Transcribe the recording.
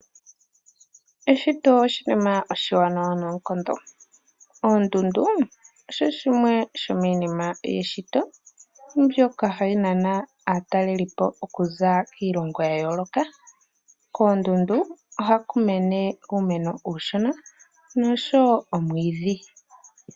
Eshito oshinima oshiwanawa noonkondo. Oondundu osho shimwe shomiinima yeshito mbyoka hayi nana aatalelipo okuza kiilongo ya yooloka. Koondundu ohaku mene uumeno uushona noshowo omwiidhi.